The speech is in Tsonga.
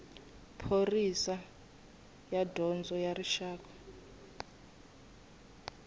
pholisi ya dyondzo ya rixaka